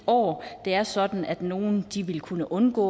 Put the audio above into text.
år det er sådan at nogle vil kunne undgå